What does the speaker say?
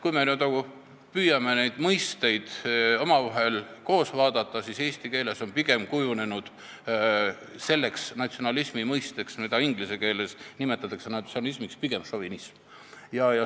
Kui me püüame neid mõisteid koos vaadata, siis näeme, et eesti keeles on kujunenud selleks mõisteks, mida inglise keeles nimetatakse natsionalismiks, pigem šovinism.